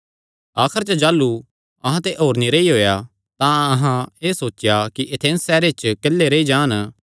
आखर च जाह़लू अहां ते होर नीं रेई होएया तां अहां एह़ सोचेया कि एथेंस सैहरे च किल्ले रेई जान